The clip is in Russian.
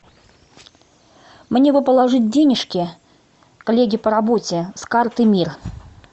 мне бы положить денежки коллеге по работе с карты мир